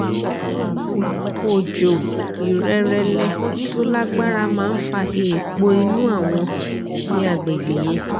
oòjò ìrẹrẹlẹ tó lágbára máa ń fa èèpo inú awọn ní àgbègbè yẹn